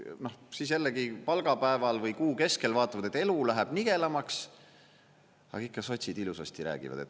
Siis jällegi palgapäeval või kuu keskel vaatavad, et elu läheb nigelamaks, aga ikka sotsid ilusasti räägivad.